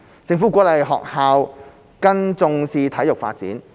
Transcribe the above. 政府鼓勵學校更重視體育發展。